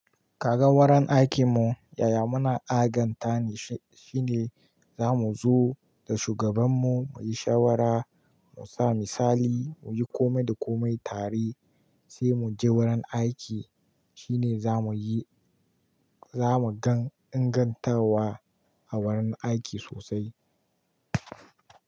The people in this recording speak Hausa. Kaga wurin aikinmu yaya muna aganta ne, shine zamu zo da shugabanmu muyi shawara, mu sami misali, muyi kome da komai tare sai mu je wurin aiki shine zamuyi, zamu gan ingantawa a wurin aiki sosai.